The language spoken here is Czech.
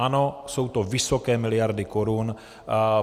Ano, jsou to vysoké miliardy korun.